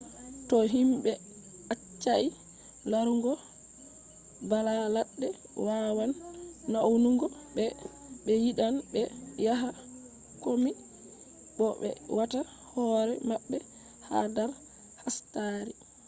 to himɓe accai larugo bala ladde wawan naunugo be ɓe yidan be yaha kombi bo be wata hoore mabbe ha dar hastari